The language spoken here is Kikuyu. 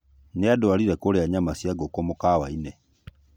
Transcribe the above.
Nĩanduarire kũrĩa nyama cia ngũkũ mũkawa-inĩ